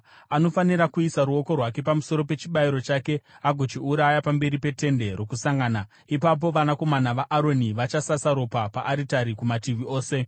Anofanira kuisa ruoko rwake pamusoro pechibayiro chake agochiuraya pamberi peTende Rokusangana. Ipapo vanakomana vaAroni vachasasa ropa paaritari kumativi ose.